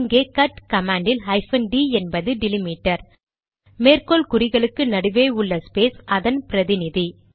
இங்கே cut command யில் hyphen D என்பது டிலிமிடர் மேற்கோள் குறிகளுக்கு நடுவே உள்ள ஸ்பேஸ் அதன் பிரதிநிதி